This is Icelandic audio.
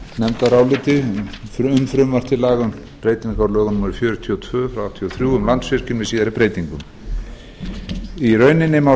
nefndaráliti um frumvarp til laga um breytingu á lögum númer fjörutíu og tvö nítján hundruð áttatíu og þrjú um landsvirkjun með síðari breytingum í rauninni má